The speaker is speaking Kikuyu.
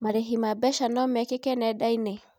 Marĩhi ma mbeca no mekĩke nenda-inĩ?